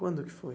Quando que foi?